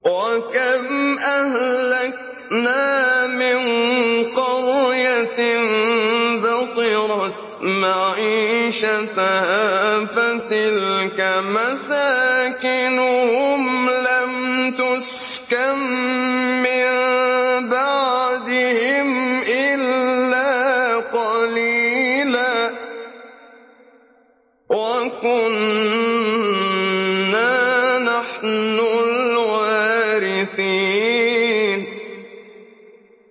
وَكَمْ أَهْلَكْنَا مِن قَرْيَةٍ بَطِرَتْ مَعِيشَتَهَا ۖ فَتِلْكَ مَسَاكِنُهُمْ لَمْ تُسْكَن مِّن بَعْدِهِمْ إِلَّا قَلِيلًا ۖ وَكُنَّا نَحْنُ الْوَارِثِينَ